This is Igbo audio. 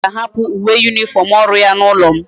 mmesoma ga a hapu uwe uniform oru ya na ulo m